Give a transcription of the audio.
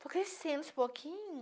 estou crescendo aos pouquinhos